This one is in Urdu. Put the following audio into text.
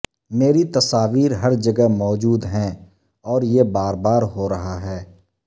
میری تصاویر ہر جگہ موجود ہیں اور یہ بار بار ہو رہا ہے